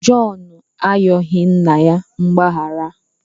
Jọn ayọghị nna ya mgbaghara.